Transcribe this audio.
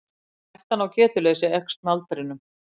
hættan á getuleysi eykst með aldri